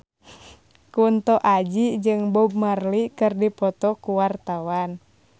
Kunto Aji jeung Bob Marley keur dipoto ku wartawan